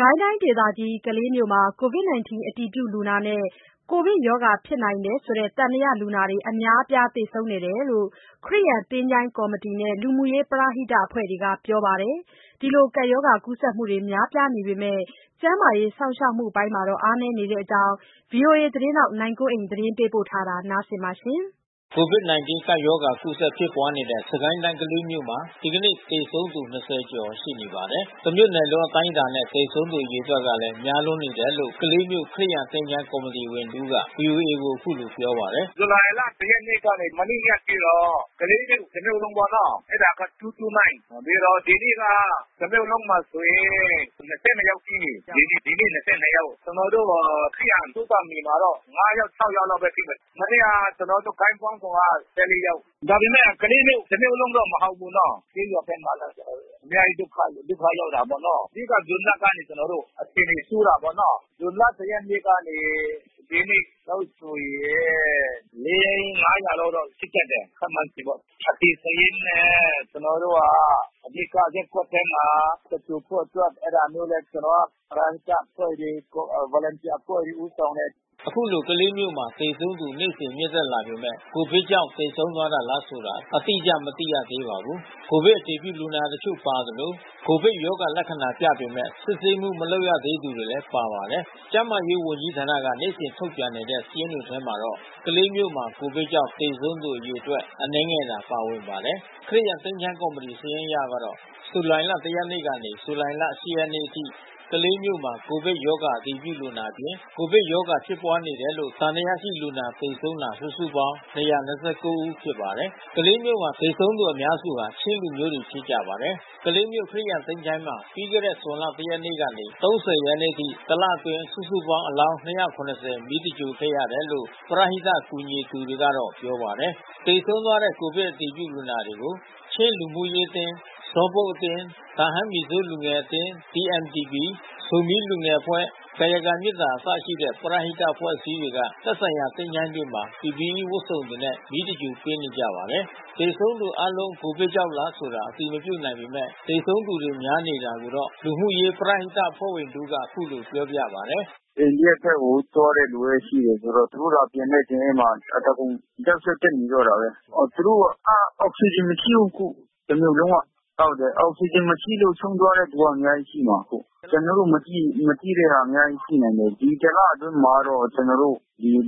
ကိုင်းတိုင်းဒေသကြီး ကလေးမြို့မှာ ကိုဗစ်- ၁၉ အတည်ပြုလူနာနဲ့ ကိုဗစ်ရောဂါဖြစ်နိုင်တယ်ဆိုတဲ့ သံသယလူနာတွေ အများအပြား သေဆုံးနေတယ်လို့ ခရစ်ယာန် သချိ ုၤင်းကော်မတီတွေနဲ့ လူမှုရေးပရဟိတအဖွဲ့ဝင်တွေကပြောပါတယ်။ ရောဂါကူးစက်မှုများပြားပေမဲ့ ကျန်းမာရေး စောင့်ရှောက်မှုပိုင်းတွေမှာ အားနည်းနေတဲ့အကြောင်း ဗွီအိုအေသတင်းထောက် နိုင်ကွန်းအိန်က သတင်းပေးပို့ ထားပါတယ်။ ကိုဗစ်- ၁၉ ကပ်ရောဂါ ကူးစက် ဖြစ်ပွားနေတဲ့ စစ်ကိုင်းတိုင်း ကလေးမြို့မှာ ဒီနေ့ သေဆုံးသူ ၂၀ ကျော်ရှိပါတယ်။ တမြို့နယ်လုံးအတိုင်းအတာနဲ့ သေဆုံးသူအရေအတွက်လည်း များနေတယ်လို့ ကလေးမြို့ ခရစ်ယာန်သချို ၤးကော်မတီဝင်တဦးက ဗွီအိုအေကို ပြောပါတယ်။ "ဇူလိုင်လ ၁ ရက်နေ့ကနေ ဒီနေ့အထိတော့ ကလေးမြို့တမြို့လုံးပေါ့နော။ အဲတာက ၂၂၉ ။ ဒီနေ့က တမြို့လုံးမှာဆိုရင် ၂၂ ယောက်ရှိတယ်။ ဒီနေ့ ၂၂ ယောက်။ မနေ့က ကျနော်တို့ ခရစ်ယာန်သုဿာန်မြေမှာတော့ ၁၄ ယောက်။ ဒါပေမဲ့ ကလေးမြို့ တမြို့လုံးတော့မဟုတ်ဘူးနော။ ဇွန်လ ၁ ရက်နေ့ကနေ ဒီနေ့အထိဆိုရင် လေး ငါးရာလောက်တော့ရှိတတ်တယ်။ အသေစာရင်းနဲ့ အဓိကရပ်ကွက်ထဲမှာ သင်္ဂြိုလ်ဖို့အတွက် အဲတာမျိုးလဲ ပရဟိတအဖွဲ့တွေ Volunteer အဖွဲ့တွေ ဦးဆောင်တယ်။" ခုလို ကလေးမြို့မှာ သေဆုံးသူ နေ့စဉ် မြင့်တက်နေပေမဲ့ ကိုဗစ်ကြောင့်သေဆုံးသွားတာလားဆိုတာ အတိအကျ မသိရပါဘူး။ ကိုဗစ်အတည်ပြုလူနာတချို့ပါသလို ကိုဗစ်ရောဂါလက္ခဏာပြပေမဲ့ စစ်ဆေးမှု မလုပ်ရသေးသူတွေလည်း ပါပါတယ်။ ကျန်းမာရေးဝန်ကြီးဌာနက နေ့စဉ်ထုတ်ပြန်နေတဲ့ စာရင်းတွေထဲမှာတော့ ကလေးမြို့မှာ ကိုဗစ်ကြောင့် သေဆုံးသူအရေအတွက် အနည်းငယ်သာပါဝင်ပါတယ်။ ခရစ်ယာန် သချိ ုၤင်းကော်မတီ စာရင်းအရကတော့ ဇူလိုင်လ ၁ ရက်နေ့ကနေ ဇူလိုင်လ ၈ ရက်နေ့အထိ ကလေးမြို့မှာ ကိုဗစ်ရောဂါ အတည်ပြုလူနာအပြင် ကိုဗစ်ရောဂါဖြစ်နေတယ်လို့ သံသယရှိတဲ့လူနာ သေဆုံးတာ စုစုပေါင်း ၂၂၉ ဦးဖြစ်ပါတယ်။ ကလေးမြို့မှာ သေဆုံးနေကြသူ အများစုက ချင်းလူမျိုးတွေဖြစ်ကြပါတယ်။ ကလေးမြို့ ခရစ်ယာန် သချိ ုၤင်းမှာ ပြီးခဲ့တဲ့ ဇွန်လ ၁ ရက်နေ့ကနေ ၃၀ ရက်နေ့အထိ တလအတွင်း စုစုပေါင်း အလောင်း ၂၇၀ မီးသဂြိုၤလ်ခဲ့ရတယ်လို့ ပရဟိတကူညီနေသူတွေက ပြောပါတယ်။ သေဆုံးသွားတဲ့ ကိုဗစ်အတည်ပြုလူနာတွေကို ချင်းလူမှုရေးအသင်း ၊ ဇောလ်ဘုတ် ၊ တာဟန်းမီဇိုးလူငယ်အသင်း ၊ ဇိုမီးလူငယ်အဖွဲ့ ကာယကံမေတ္တာ စတဲ့ ပရဟိတအဖွဲ့အစည်းတွေက သက်ဆိုင်ရာသချို ၤးတွေမှာ PPE ဝတ်စုံတွေနဲ့ မီးရှို့သဂြိုၤလ်ပေးနေကြပါတယ်။ သေဆုံးသူအားလုံး ကိုဗစ်ကြောင့်လားဆိုတာ အတည်မပြုနိုင်ပေမဲ့ သေဆုံးသူတွေများနေတဲ့အကြောင်း လူမှုရေးပရဟိတအဖွဲ့ဝင်တဦးက ပြောပါတယ်။ "အိန္ဒိယဘက်ကို သွားတဲ့လူလည်းရှိတယ်ဆိုတော့ သူတို့သာပြန်တဲ့စာရင်းမှာ အသားကုန် sensitive ဖြစ်နေတော့တာပဲ။ အောက်စီဂျင်မရှိဘူး အခု။ တမြို့လုံးက အောက်စီဂျင်မရှိလို့ ဆုံးသွားတာ အများကြီးရှိမှ ာအခု။ ဒီတလအတွင်းမှာတော့ ကျနော်တို့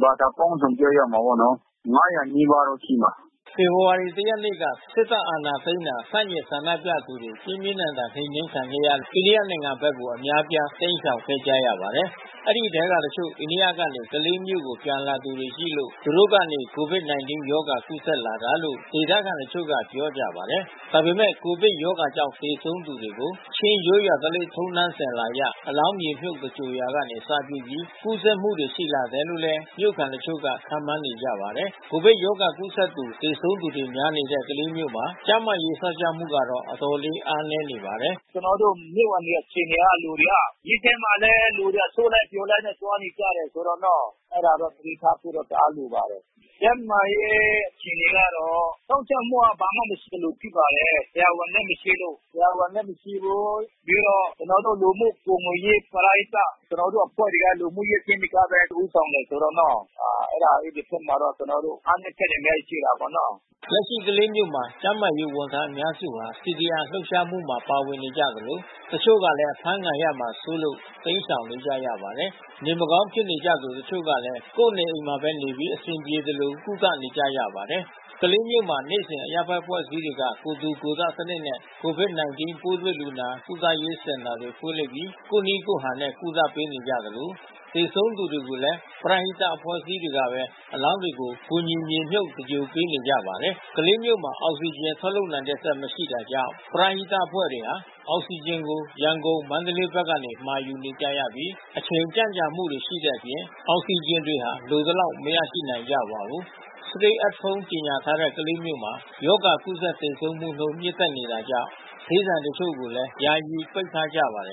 ဘာသာပေါင်းစုံ ပြောရမှာပေါ့နော်၊ ၅၀၀ နီးပါးတော့ရှိမှာ။" ဖေဖော်ဝါရီလ ၁ ရက်နေ့မှာ စစ်တပ်အာဏာသိမ်းတာကို ဆန့်ကျင်ဆန္ဒပြသူတွေ ပြင်းပြင်းထန်ထန် နှိမ်နှင်းခံရလို့ အိန္ဒိယနိုင်ငံဘက်ကို အများအပြား တိမ်းရှောင်ခဲ့ကြပါတယ်။ အဲဒီထဲကတချို့ အိန္ဒိယကနေ ကလေးမြို့ကို ပြန်လာသူတွေရှိလို့ သူတို့ကနေ ကိုဗစ်-၁၉ရောဂါ ကူးစက်လာတာလို့ ဒေသခံတချို့က ပြောကြပါတယ်။ ဒါ့အပြင် ကိုဗစ်ရောဂါကြောင့်သေဆုံးသူကို ချင်းရိုးရာထုံးတမ်းစဉ်အလာအရ အလောင်းမြေမြှုတ်သဂြိုၤလ်ရာက အစပြုပြီး ကူးစက်မှုတွေရှိလာတယ်လို့လည်း မြို့ခံတချို့ကခန့်မှန်းနေကြပါတယ်။ကိုဗစ်ရောဂါကူးစက်သူ၊ သေဆုံးသူတွေများနေတဲ့ ကလေးမြို့မှာ ကျန်းမာရေးစောင့်ရှောက်မှုကတော့ အတော်လေး အားနည်းနေပါတယ်။ "ကျနော်တို့မြို့မှာ နေတဲ့လူတွေအခြေအနေက မြို့မှာလည်း လူတွေ အစုလိုက်အပြုံလိုက် သွားနေကြတယ်ဆိုတော့နော။ အဲတာတော့ သတိထားဖို့တော့ တအားလိုပါတယ်။ ကျန်းမာရေးအခြေအနေကတော့ စောင့်ရှောက်မှုက ဘာမှမရှိသလိုဖြစ်ပါတယ်။ ဆရာဝန်လည်းမရှိဘူး။ ပြီးတော့ပရဟိတ ကျနော်တို့အဖွဲ့တွေက လူမှုရေးအသင်းတွေကပဲ ဦးဆောင်တယ်ဆိုတော့နော။ အဲဒီဖက်မှာလည်း ကျနော်တို့အားနည်းချက်တွေလည်းရှိတာပေါ့နော။" လက်ရှိ ကလေးမြို့မှာ ကျန်းမာရေးဝန်ထမ်းအများစုဟာ CDM လှုပ်ရှားမှုမှာပါဝင်နေကြသလို တချို့လည်း အဖမ်းဆီးခံရမှာစိုး လို့ တိမ်းရှောင်နေကြရပါတယ်။ နေမကောင်းဖြစ်နေကြသူ တချို့ကလည်း ကိုယ့်နေအိမ်တွေမှာပဲနေပြီး အဆင်ပြေသလို ကုသနေကြရပါတယ်။ ကလေးမြို့မှာ ဒေသတွင်း အရပ်ဘက်အဖွဲ့အစည်းတွေက ကိုယ်ထူကိုယ်ထစနစ်နဲ့ ကိုဗစ်-၁၉ ပိုးတွေ့လူနာကုသရေးစင်တာတွေ ဖွင့်လှစ်ပြီး ကိုယ့်နည်းကိုယ်ဟန်နဲ့ ကုသပေးနေကြသလို သေဆုံးသူတွေကိုလည်း ပရဟိတအဖွဲ့အစည်းတွေကပဲ အလောင်းတွေကို ကူညီမြေမြုပ်သဂြိုၤလ်ပေးနေကြပါတယ်။ ကလေးမြို့မှာ အောက်ဆီဂျင်ထုတ်လုပ်နိုင်တဲ့စက် မရှိတာကြောင့် ပရဟိတအသင်းအဖွဲ့တွေဟာ အောက်ဆီဂျင်တွေကို ရန်ကုန်၊ မန္တလေးဘက်ကနေ မှာယူကြရပြီး အချိန်ကြန့်ကြာမှုရှိတဲ့အပြင် အောက်ဆီဂျင်တွေ လိုသလောက် မရနိုင်ကြပါဘူး။ Stay at Home ကြေညာထားတဲ့ ကလေးမြို့မှာ ရောဂါကူးစက်သေဆုံးမှုနှုန်း မြင့်တက်နေတာကြောင့် ဈေးဆိုင်အချို့ကိုလည်း ယာယီ ပိတ်ထားကြပါတယ်